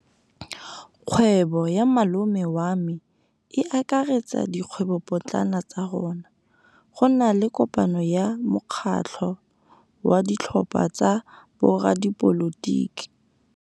Kgwêbô ya malome wa me e akaretsa dikgwêbôpotlana tsa rona. Go na le kopanô ya mokgatlhô wa ditlhopha tsa boradipolotiki.